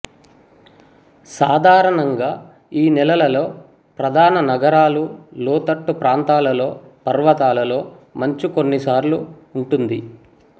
సాధారణంగా ఈ నెలలలో ప్రధాన నగరాలు లోతట్టు ప్రాంతాలలో పర్వతాలలో మంచు కొన్నిసార్లు ఉంటుంది